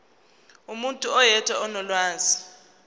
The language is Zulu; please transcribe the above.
umuntu oyedwa onolwazi